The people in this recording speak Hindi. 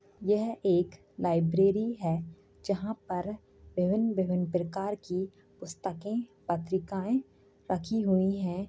यह एक लाइब्रेरी है जहाँ पर विभिन्न विभिन्न प्रकार की पुस्तकें पत्रिकाएं रखी हुई हैं।